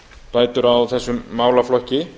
bætur á þessum málaflokki